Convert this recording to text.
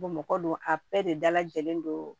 Bɔn mɔgɔ don a bɛɛ de dalajɛlen don